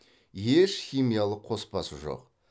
еш химиялық қоспасы жоқ